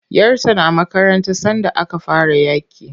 Yar ta na makaranta sanda aka fara yaƙin.